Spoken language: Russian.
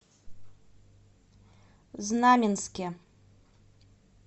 знаменске